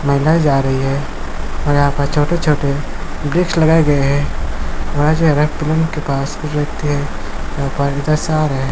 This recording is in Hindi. महिलाये जा रही हे और यहाँ पर छोटे-छोटे वृक्ष लगाए गए है। पास एक व्यक्ति है। यहाँ पर है।